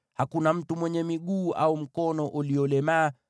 hakuna mtu mwenye mguu au mkono uliolemaa,